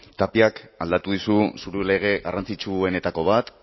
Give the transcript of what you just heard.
tapiak aldatu dizu lege garrantzitsuenetako bat